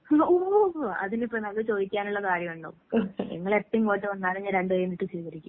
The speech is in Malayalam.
എന്ത്? ഓഹ് അതിലിപ്പെന്താ? അത് ചോയ്ക്കാന്ള്ള കാര്യോണ്ടോ? നിങ്ങളെപ്പെ ഇങ്ങോട്ട് വന്നാലും ഞാൻ രണ്ട് കയ്യും നീട്ടി സ്വീകരിക്കും.